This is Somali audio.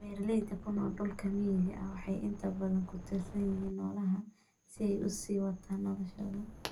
Beeralayda ku nool dhulka miyiga ah waxay inta badan ku tiirsan yihiin noolaha si ay u sii wataan noloshooda.